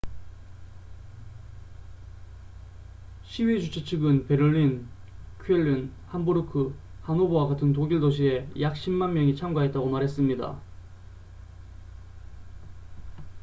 시위 주최 측은 베를린 쾰른 함부르크 하노버와 같은 독일 도시에 약 10만 명이 참가했다고 말했습니다